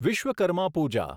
Vishwakarma Pooja